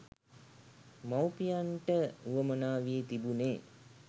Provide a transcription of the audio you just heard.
මවුපියන්ට වුවමනා වී තිබුණේ